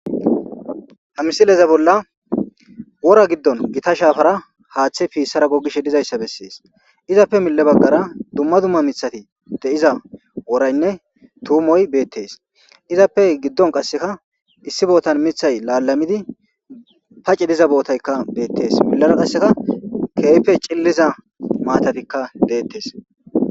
hamsileza bolla wora giddon gita shaafara haaththe piissara gogishe dizayssa bessees izappe mille baggara dumma dumma mithati de7iza woraynne tuumoy beettes izappe giddon qasseka issi bootan mithay laalamidi paci diza bootaykka beettes millara qasseka keeype cilliza maatatikka deettes